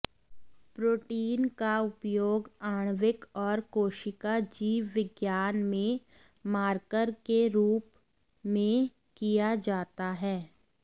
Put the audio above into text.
protein का उपयोग आण्विक और कोशिका जीवविज्ञान में मार्कर के रूप में किया जाता है